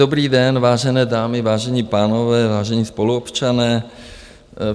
Dobrý den, vážené dámy, vážení pánové, vážení spoluobčané.